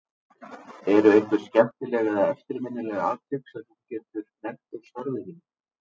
Eru einhver skemmtileg eða eftirminnileg atvik sem þú getur nefnt úr starfi þínu?